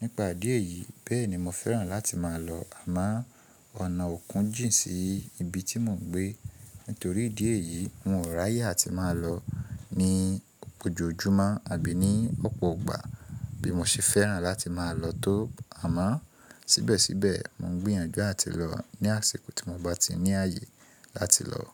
Nípa idí ẹyìí bẹ́ẹ̀ ni mo fẹ́ràn láti máa lọ àmọ́ ọ̀nà òkun jìn sí ibi tí mò ń gbé. Nítorí ìdí èyí, n ò ráyè àti máa lọ ní ojoojúmọ́ àbí ní ọ̀pọ̀ ọgbà bí mo ṣe fẹ́ràn láti máa lọ tó. Àmọ́ síbẹ̀síbẹ̀ mò ń gbìyànjú láti lọ ní àsìkò tí mo bá ti ní àyè láti lọ.